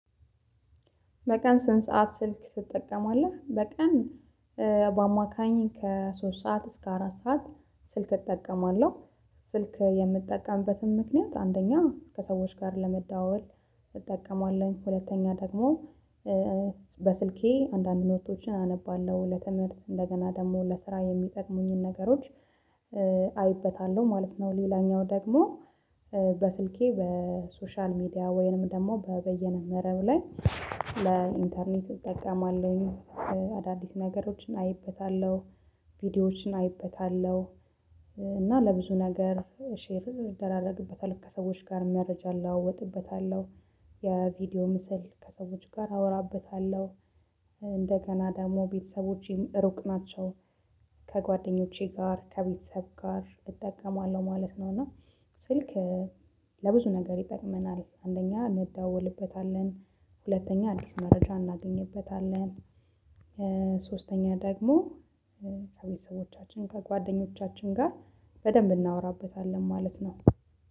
በቀን ስንት ሰዓት ስልክ ትጠቀማለህ? በቀን በአማካኝ ከሶስት ሰዓት እስከ አራት ሰዓት ስልክ እጠቀማለሁ። ስልክ የምጠቀምበትም ምክንያት አንደኛ ከሰዎች ጋር ለመዳወል እጠቀማለሁ ሁለተኛ ደግሞ በስልኬ አንዳንድ ኖቶችን አነባለሁ ለትምህርት እንደገና ደግሞ ለስራ የሚጠቅሙኝን ነገሮች አይበታለሁ ማለት ነው። ሌላኛው ደግሞ በስልኬ በሶሻል ሚዲያ ወይንም ደግሞ በይነመረብ ላይ ለኢንተርኔት እጠቀማለሁኝ። አዳዲስ ነገሮችን አይበታለሁ ቪዲዮዎችን አይበታለሁ። እና ለብዙ ነገር ሼር እደራረግበታለሁ ከሰዎች ጋር መረጃ እለዋወጥበታለሁ። የቪዲዮ ምስል ከሰዎች ጋር አወራበታለሁ። እንደገና ደግሞ ቤተሰቦቼም ሩቅ ናቸው ከጓደኞቼ ጋር ከቤተሰብ ጋር እጠቀማለሁ ማለት ነው። እና ስልክ ለብዙ ነገር ይጠቅመናል አንደኛ እንደዳወልበታለን ሁለተኛ አዲስ መረጃ እናገኝበታለን። ሶስተኛ ደግሞ ከቤተሰቦቻችን ከጓደኞቻችን ጋር በደንብ እናወራበታለን ማለት ነው።